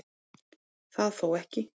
Það þó ekki